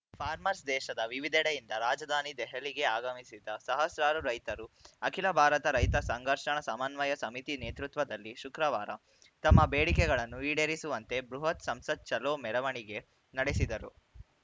farmers ದೇಶದ ವಿವಿಧೆಡೆಯಿಂದ ರಾಜಧಾನಿ ದೆಹಲಿಗೆ ಆಗಮಿಸಿದ್ದ ಸಹಸ್ರಾರು ರೈತರು ಅಖಿಲ ಭಾರತ ರೈತ ಸಂಘರ್ಷಣ ಸಮನ್ವಯ ಸಮಿತಿ ನೇತೃತ್ವದಲ್ಲಿ ಶುಕ್ರವಾರ ತಮ್ಮ ಬೇಡಿಕೆಗಳನ್ನು ಈಡೇರಿಸುವಂತೆ ಬೃಹತ್‌ ಸಂಸತ್‌ ಚಲೋ ಮೆರವಣಿಗೆ ನಡೆಸಿದರು